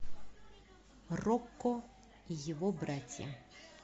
рокко и его братья